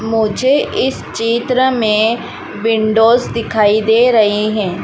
मुझे इस चित्र में विंडोज दिखाई दे रहे हैं।